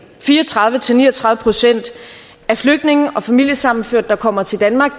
fire og tredive til ni og tredive procent af flygtninge og familiesammenførte der kommer til danmark